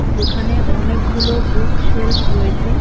যেখানে অনেকগুলো bookshelf রয়েছে।